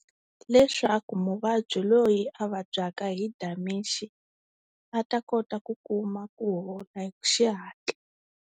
Leswaku muvabyi loyi a vabyaka hi Dementia a ta kota ku kuma ku hola hi xihatla.